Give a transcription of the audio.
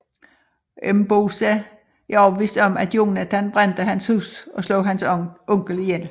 Mbosa er overbevist om at Jonathan brændte hans hus og slog hans onkel ihjel